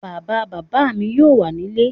Bàbá bàbá mi yóò wà nílé